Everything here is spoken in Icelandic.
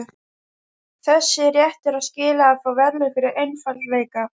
Þessi réttur á skilið að fá verðlaun fyrir einfaldleika.